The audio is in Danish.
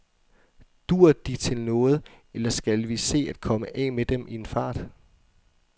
Duer de til noget, eller skal vi se at komme af med dem i en fart?